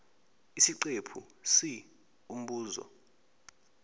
isiqephu c umbuzo